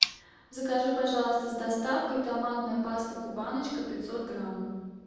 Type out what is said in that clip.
закажи пожалуйста с доставкой томатная паста кубаночка пятьсот грамм